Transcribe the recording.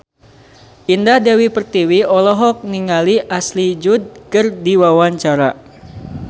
Indah Dewi Pertiwi olohok ningali Ashley Judd keur diwawancara